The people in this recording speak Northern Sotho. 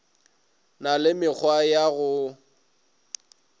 na le mekgwa ya go